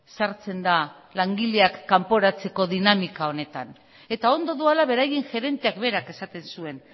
sartzen da langileak kanporatzeko dinamika honetan eta ondo doala beraien gerenteak berak esaten zuen